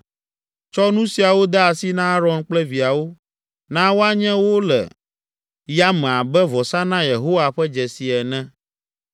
Tsɔ nu siawo de asi na Aron kple viawo. Na woanye wo le yame abe vɔsa na Yehowa ƒe dzesi ene.